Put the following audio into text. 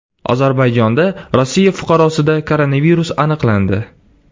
Ozarbayjonda Rossiya fuqarosida koronavirus aniqlandi.